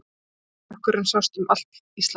Öskumökkurinn sást um allt Ísland.